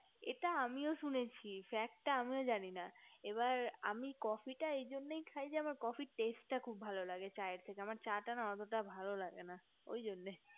এটা আমিও শুনেছি fact টা আমিও জানি না এবার আমি coffe টা এই জন্য খাই coffe এ র test টা খুব ভালো লাগে চায়ের থেকে আমার চা তা অটো ভালো লাগে না ঐজন্য